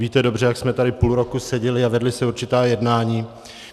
Víte dobře, jak jsme tady půl roku seděli a vedla se určitá jednání.